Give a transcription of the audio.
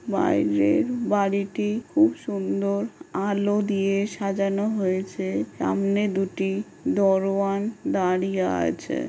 বাইরের বাড়িটি খুব সুন্দর আলো দিয়ে সাজানো হয়েছে। সামনে দুটি দরোয়ান দাঁড়িয়ে আছে ।